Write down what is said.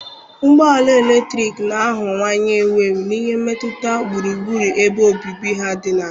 Ụgbọ ala eletrik na-aghọwanye ewu ewu n'ihi mmetụta gburugburu ebe obibi ha dị ala.